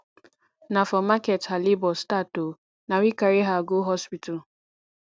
na for market her labor start o na we carry her go hospital